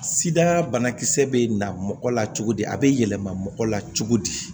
Sida banakisɛ bɛ na mɔgɔ la cogo di a bɛ yɛlɛma mɔgɔ la cogo di